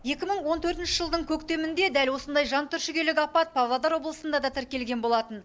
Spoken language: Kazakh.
екі мың он төртінші жылдың көктемінде дәл осындай жантүршігерлік апат павлодар облысында да тіркелген болатын